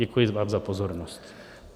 Děkuji vám za pozornost.